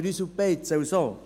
«Grüselbeize» und so.